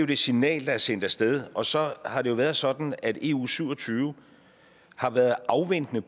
det signal der er sendt af sted og så har det jo været sådan at eu syv og tyve har været afventende